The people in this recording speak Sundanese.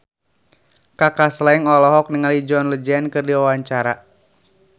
Kaka Slank olohok ningali John Legend keur diwawancara